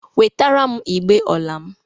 Wetara m igbe ọla m.!